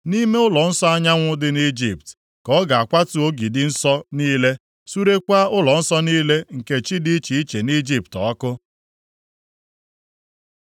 Nʼime ụlọnsọ anyanwụ dị nʼIjipt, ka ọ ga-akwatu ogidi nsọ niile, surekwaa ụlọnsọ niile nke chi dị iche iche nʼIjipt ọkụ.’ ”